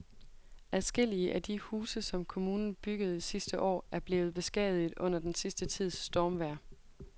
Adskillige af de huse, som kommunen byggede sidste år, er blevet beskadiget under den sidste tids stormvejr.